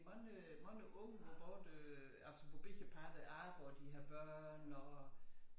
Mange mange unge hvor både øh altså hvor begge parter arbejder de har børn og